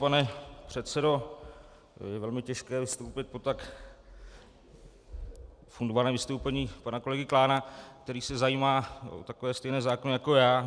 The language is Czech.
Pane předsedo, je velmi těžké vstoupit po tak fundovaném vystoupení pana kolegy Klána, který se zajímá o takové stejné zákony jako já.